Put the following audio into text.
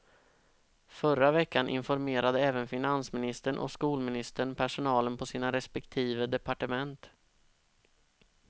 Förra veckan informerade även finansministern och skolministern personalen på sina respektive departement.